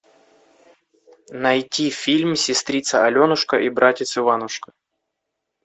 найти фильм сестрица аленушка и братец иванушка